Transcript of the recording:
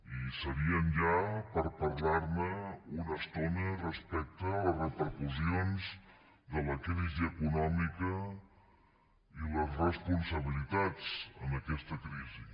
i serien ja per parlar ne una estona respecte a les repercussions de la crisi econòmica i les responsabilitats en aquesta crisi